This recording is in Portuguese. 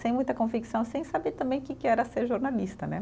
Sem muita convicção, sem saber também que que era ser jornalista, né?